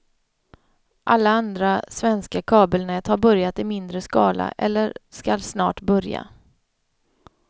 Alla andra svenska kabelnät har börjat i mindre skala eller skall snart börja.